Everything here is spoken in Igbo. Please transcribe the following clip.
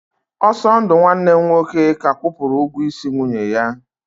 Osondu nwanne m nwoke ka kwụpụrụ ụgwọ isi nwunye ya.